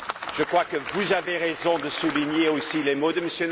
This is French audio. Je crois que vous avez raison de souligner aussi les mots de M.